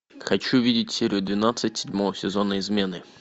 хочу видеть серию двенадцать седьмого сезона измены